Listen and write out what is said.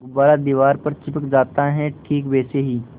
गुब्बारा दीवार पर चिपक जाता है ठीक वैसे ही